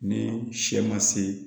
Ni sɛ ma se